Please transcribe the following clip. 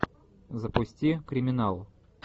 запусти криминал